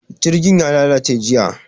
Jirgin ya lalace jiya.